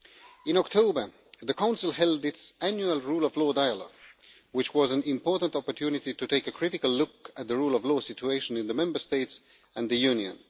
In October, the Council held its annual rule of law dialogue, which was an important opportunity to take a critical look at the rule of law situation in the Member States and the Union.